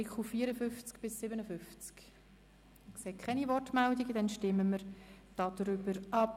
Ich sehe keine Wortmeldungen, dann stimmen wir darüber ab.